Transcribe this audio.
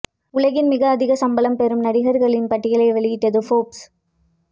உலகின் மிக அதிக சம்பளம் பெறும் நடிகர்களின் பட்டியலை வௌியிட்டது ஃபோர்ப்ஸ்